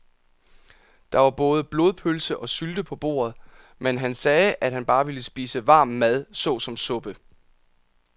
Der var både blodpølse og sylte på bordet, men han sagde, at han bare ville spise varm mad såsom suppe.